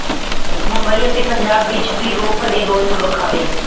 ਮੁੰਬਈ ਅਤੇ ਪੰਜਾਬ ਵਿੱਚ ਵੀ ਰੋਹ ਭਰੇ ਰੋਸ ਵਖਾਵੇ